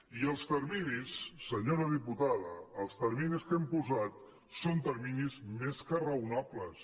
i els terminis senyora diputada els terminis que hem posat són terminis més que raonables